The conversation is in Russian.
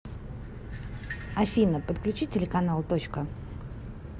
афина подключи телеканал точка